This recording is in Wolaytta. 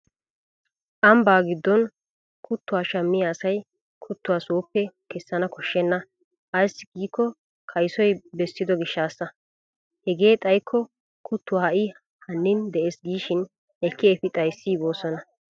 Ambbaa giddon kuttuwaa shammiya asay kuttuwaa soopee kessana koshshenna ayssi giikko kaysoy bessido gishshaassa. Hegee xayikko kuttuwaa ha'i hannin de'es giishin ekki efi xayissiigoosona.